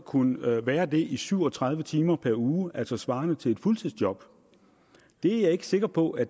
kunne være det i syv og tredive timer per uge altså svarende til et fuldtidsjob det er jeg ikke sikker på at